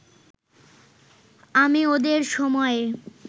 আমি ওদের সময়ে